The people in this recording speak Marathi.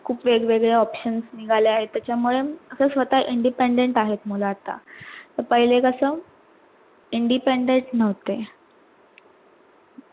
खूप वेगवेगळे options निगाले आहेत त्याचा मुळे ते स्वतः independent आहेत मूळ आता पैले कस independent नव्हते